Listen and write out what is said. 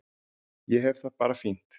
Ég hef það bara fínt